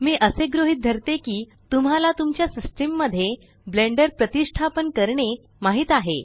मी असे गृहीत धरते की तुम्हाला तुमच्या सिस्टम मध्ये ब्लेण्डर प्रतीष्टापन करणे माहीत आहे